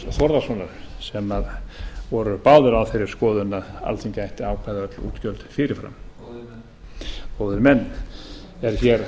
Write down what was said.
þórðarsonar sem voru báðir á þeirri skoðun að alþingi ættu að ákveða útgjöld fyrir fram góðir menn góðir menn er hér